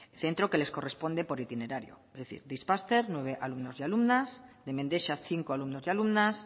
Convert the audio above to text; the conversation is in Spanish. centro que les corresponde por itinerario es decir de ispaster nueve alumnos y alumnas de mendexa cinco alumnos y alumnas